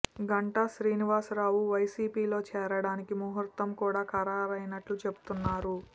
గంటా శ్రీనివాస రావు వైసీపిలో చేరడానికి ముహూర్తం కూడా ఖరారైనట్లు చెబుతున్నారు